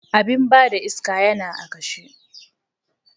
Abin ba da iska yana a kashe.